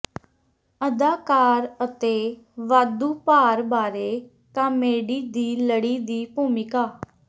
ਅਦਾਕਾਰ ਅਤੇ ਵਾਧੂ ਭਾਰ ਬਾਰੇ ਕਾਮੇਡੀ ਦੀ ਲੜੀ ਦੀ ਭੂਮਿਕਾ